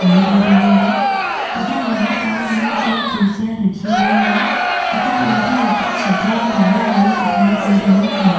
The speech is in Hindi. दिखाई दे रहे हैं तथा यहां पर मेज और कुर्सियां रखी हुई है तथा उनके ऊपर छत्रियाँ लगी हुए दिखाई दे रहे हैं।